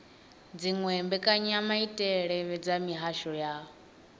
dziwe mbekanyamaitele dza mihasho ya